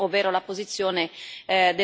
del Parlamento europeo.